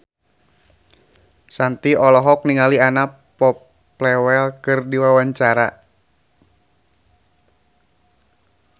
Shanti olohok ningali Anna Popplewell keur diwawancara